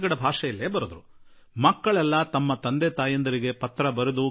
ನಮ್ಮ ಮನೆಗಳಲ್ಲಿ ಶೌಚಾಲಯ ಇರಬೇಕು ಎಂದು ಅವರು ತಮ್ಮ ತಂದೆ ತಾಯಿಗಳಿಗೆ ಪತ್ರ ಬರೆದು ತಿಳಿಸಿದರು